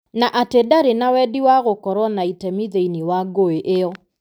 Na atĩ ndarĩ na wendi wa gũkorũo na itemi thĩinĩ wa ngũĩ ĩyo.